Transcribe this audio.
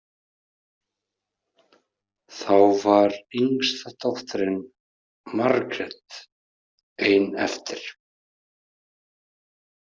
Þá var yngsta dóttirin, Margrét, ein eftir.